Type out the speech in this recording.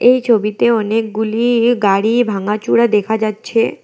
এই ছবিতে অনেকগুলিই গাড়ি ভাঙ্গাচুরা দেখা যাচ্ছে।